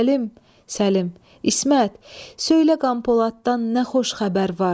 Ah, Səlim, Səlim, İsmət, söylə qan poladdan nə xoş xəbər var?